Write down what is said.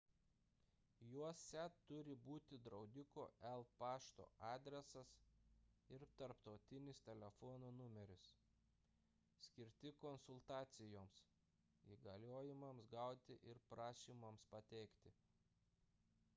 juose turi būti draudiko el pašto adresas ir tarptautinis telefono numeris skirti konsultacijoms įgaliojimams gauti ir prašymams pateikti